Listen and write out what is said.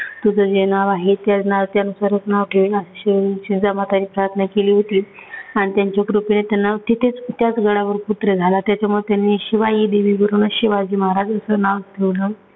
तुझ जे नाव आहे, ते त्यानुसारचं नाव ठेवील. शिव जीजामाताने प्रार्थना केली होती. आणि त्यांचा कृपेने त्यांना तिथेचं त्याचं गडावर त्याच्यामुळे त्यांनी शिवाई देवीवरून शिवाजी महाराजांचं नाव ठेवलं.